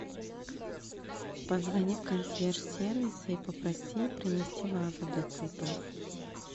позвони в консьерж сервис и попроси принести вазу для цветов